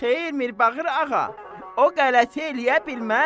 Xeyr, Mirbağır ağa, o qələti eləyə bilməz.